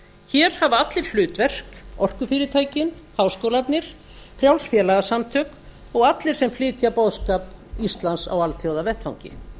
hér hafa allir hlutverk orkufyrirtækin háskólarnir frjáls félagasamtök og allir sem flytja boðskap íslands á alþjóðavettvangi